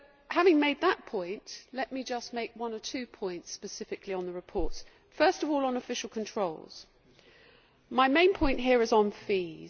Having made that point, let me just make one or two points specifically on the reports. First of all on official controls my main point here is on fees.